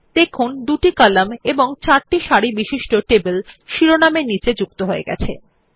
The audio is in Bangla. দেখুন দুটি কলাম এবং চারটি সারি বিশিষ্ট টেবিল শিরোনাম এর নীচে যুক্ত হয়েছে